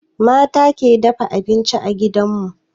Mata ke abinci a gidan mu.